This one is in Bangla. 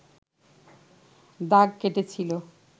দাগ কেটেছিল